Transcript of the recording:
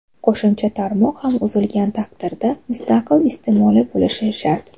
Qo‘shimcha tarmoq ham uzilgan taqdirda mustaqil iste’moli bo‘lishi shart.